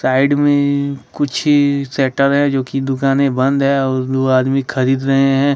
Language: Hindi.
साइड में कुछह शटर है जो कि दुकाने बंद हैं और दो आदमी खरीद रहे हैं।